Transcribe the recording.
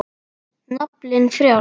Naflinn frjáls.